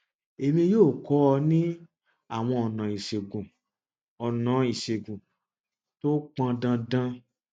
èmi yóò kọ ọ ní àwọn ọnà ìṣègùn ọnà ìṣègùn tí ó pọn dandan